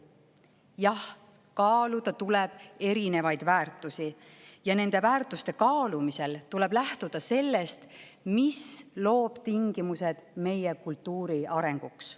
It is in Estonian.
Jah, kaaluda tuleb erinevaid väärtusi ja nende väärtuste kaalumisel tuleb lähtuda sellest, mis loob tingimused meie kultuuri arenguks.